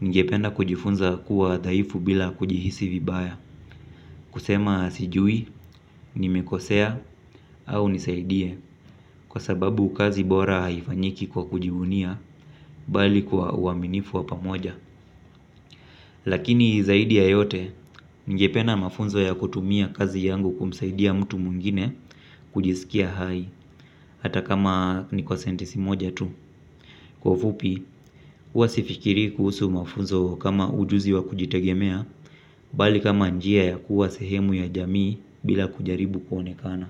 ningependa kujifunza kuwa dhaifu bila kujihisi vibaya. Kusema sijui, nimekosea, au nisaidie. Kwa sababu kazi bora haifanyiki kwa kujivunia. Bali kwa uaminifu wa pamoja. Lakini zaidi ya yote ningependa mafunzo ya kutumia kazi yangu kumsaidia mtu mwingine. Kujisikia hai. Hata kama ni kwa sentisi moja tu. Kwa ufupi, huwa sifikiri kuhusu mafunzo kama ujuzi wa kujitegemea. Bali kama njia ya kuwa sehemu ya jamii. Bila kujaribu kuonekana.